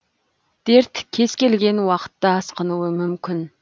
дерт кез келген уақытта асқынуы мүмкін